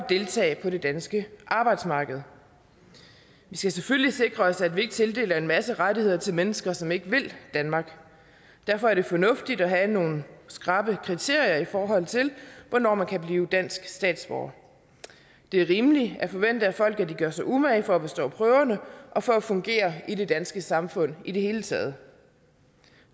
deltage på det danske arbejdsmarked vi skal selvfølgelig sikre os at vi ikke tildeler en masse rettigheder til mennesker som ikke vil danmark derfor er det fornuftigt at have nogle skrappe kriterier for hvornår man kan blive dansk statsborger det er rimeligt at forvente af folk at de gør sig umage for at bestå prøverne og for at fungere i det danske samfund i det hele taget